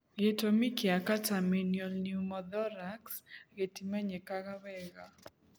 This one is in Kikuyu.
Gĩtũmi kĩa catamenial pneumothorax gĩtimenyekaga wega,